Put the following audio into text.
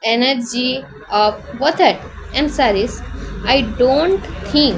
Annum ଜି of both at emissaries I don't think.